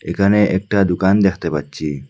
এখানে একটা দুকান দেখতে পাচ্ছি।